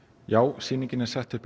sýning er sett upp